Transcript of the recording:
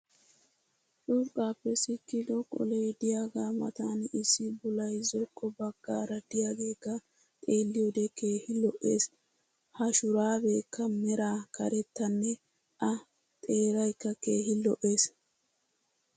Curqqaappe sikkido qolee diyaagaa matan issi bulay zokko bagaara diyaageekka xxeeliyoode keehi lo'eees. ha shuraabeekka meraa karettanne a xeeaykka keehi lo'ees.